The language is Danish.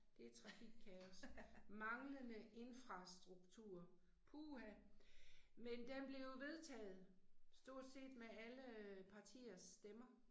Det trafikkaos, manglende infrastruktur, puha. Men den blev jo vedtaget, stort set med alle øh partiers stemmer